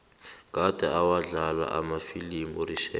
kade awadlala amafilimu urichard